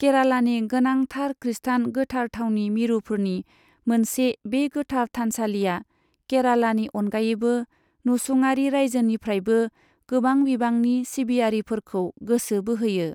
केरालानि गोनांथार खृस्टान गोथार थावनि मिरुफोरनि मोनसे, बे गोथार थानसालिआ केरालानि अनगायैबो नसुंआरि रायजोनिफ्रायबो गोबां बिबांनि सिबियारिफोरखौ गोसो बोहोयो।